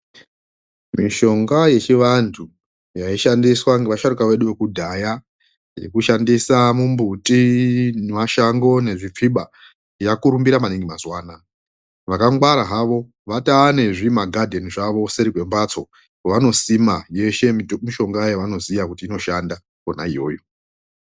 Mishonga yechivantu yaishandiswa nevasharukwa vedu vekudhaya yekushandisa mumbuti nemashango nezvipfiba yakurumbira maningi mazuva anawa vakangwara havo vatone nezvimagardem zvawo kuseri kwembatso kwavanosima yeshe mishonga yavanoona inoshanda Kona iyoyo.